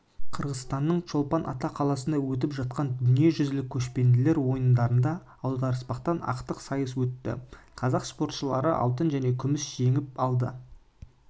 қырғызстанның чолпан-ата қаласында өтіп жатқан дүниежүзілік көшпенділер ойындарында аудырыспақтан ақтық сайыс өтті қазақ спортшылары алтын және күміс жеңіп алды деп хабарлайды